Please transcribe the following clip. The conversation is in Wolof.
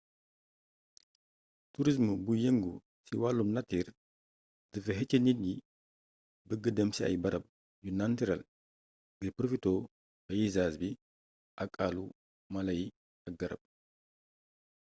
turism buy yëngu ci wàllum natiir dafay xëcc nit yi bëgg dem ci ay barab yu nantirel ngir porofitoo payizaaz bi ak àllu mala yi ak garab